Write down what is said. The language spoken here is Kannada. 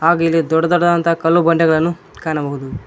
ಹಾಗು ಇಲ್ಲಿ ದೊಡ್ಡ ದೊಡ್ಡದಾದ ಕಲ್ಲು ಬಂಡೆಗಳನ್ನು ಕಾಣಬಹುದು.